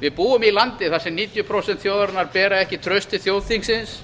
við búum í landi þar sem níutíu prósent þjóðarinnar bera ekki traust til þjóðþingsins